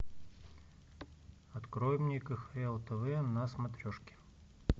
открой мне кхл тв на смотрешке